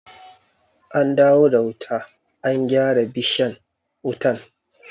An dawo da wuta, an gyara bishan wutan?